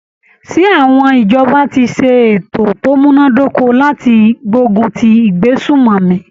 Ṣé àwọn ìjọba ti ṣe ètò ti o múná dóko láti gbógun ti ìgbésùmòmí?